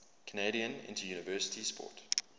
canadian interuniversity sport